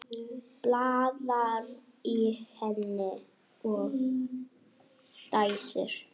Blaðar í henni og dæsir.